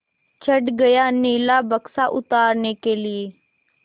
चढ़ गया नीला बक्सा उतारने के लिए